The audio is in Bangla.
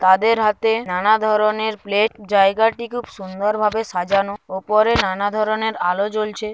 তাদের হাতে নানা ধরনের প্লেট জায়গাটি খুব সুন্দর ভাবে সাজানো ওপরে নানা ধরনের আলো জ্বলছে।